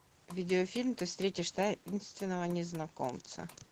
видеофильм ты встретишь таинственного незнакомца